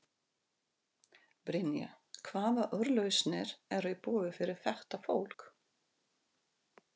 Brynja: Hvaða úrlausnir eru í boði fyrir þetta fólk?